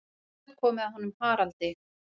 Nú er komið að honum Haraldi.